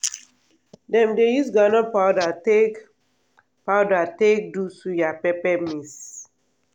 dem dey use groundnut powder take powder take do suya pepper mix.